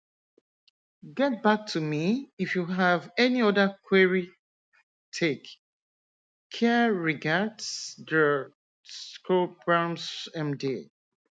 get back to me if you have any other querytake careregardsdr t shobhambbs md